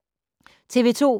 TV 2